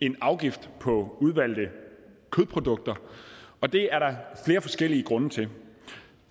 en afgift på udvalgte kødprodukter og det er der flere forskellige grunde til